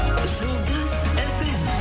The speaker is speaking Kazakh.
жұлдыз фм